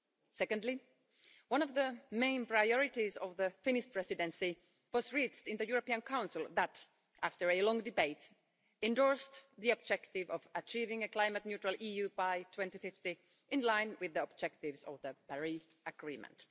Secondly, one of the main priorities of the Finnish Presidency was reached in the European Council which, after a long debate, endorsed the objective of achieving a climate neutral EU by 2050, in line with the objectives of the Paris Agreement.